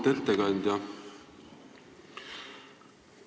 Auväärt ettekandja!